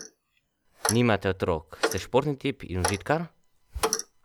Nimate otrok, ste športni tip in užitkar?